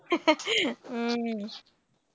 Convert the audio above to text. ஹம்